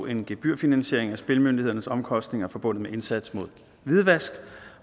en gebyrfinansiering af spilmyndighedens omkostninger forbundet med indsats mod hvidvask